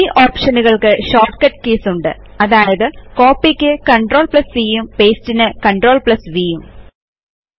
ഈ ഒപ്ഷനുകൾക്ക് shortcut keys ഉണ്ട് അതായതു കോപ്പി ക്ക് CTRLCഉം പാസ്തെ ന് CTRLVഉം